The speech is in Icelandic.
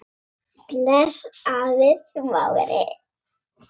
Til dæmis snæri.